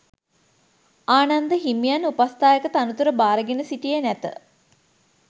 ආනන්ද හිමියන් උපස්ථායක තනතුර භාරගෙන සිටියේ නැත.